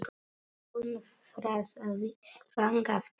Hún þrasaði þangað til.